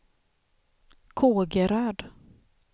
Kågeröd